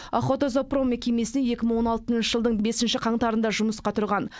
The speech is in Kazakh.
охотзоопром мекемесіне екі мың он алтыншы жылдың бесінші қаңтарында жұмысқа тұрған